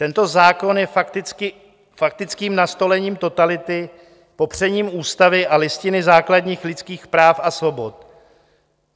Tento zákon je faktickým nastolením totality, popřením ústavy a Listiny základních lidských práv a svobod.